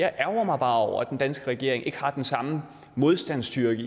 ærgrer mig over at den danske regering ikke har den samme modstandskraft